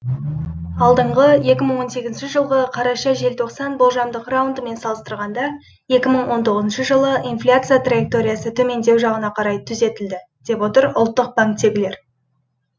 алдыңғы екі мың он сегізінші жылғы қараша желтоқсан болжамдық раундымен салыстырғанда екі мың он тоғызыншы жылы инфляция траекториясы төмендеу жағына қарай түзетілді деп отыр ұлттық банктегілер